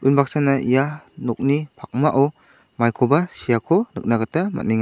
unbaksana ia nokni pakmao maikoba seako nikna gita man·enga.